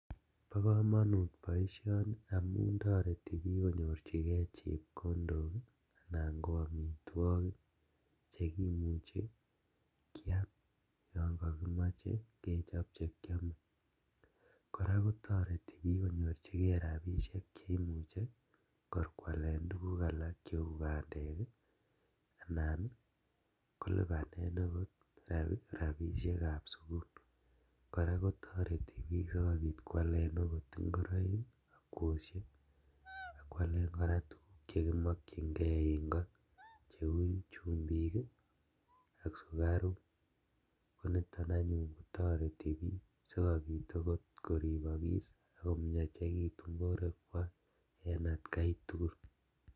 Bo komonut boisioni amun toreti bik konyorjigee chepkondok ii anan ko omitwogik chekimuche kiam yon kokimoche kechop chekiome, koraa kotoreti bik konyorjigee rabisiek cheimuche kor kwalen tuguk alak cheu bandek ii anan kolibanen okot rabisiekab sukul, koraa kotoreti bik sikobit kwalen okot ingoroik ak kwosiek ak kwalen koraa tuguk chekimokchingee en koo cheu chumbik ak sukaruk, koniton anyun toreti bik sikomuch okot koribokis ak komiachekitun boruekwak en atkaitugul.